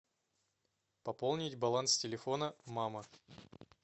пополнить баланс телефона мама